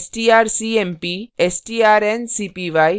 strcmp strncpy